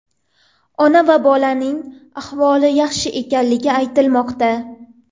Ona va bolaning ahvoli yaxshi ekanligi aytilmoqda.